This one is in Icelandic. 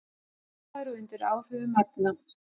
Ölvaður og undir áhrifum efna